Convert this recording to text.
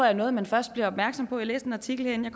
er noget man først bliver opmærksom på læste en artikel inden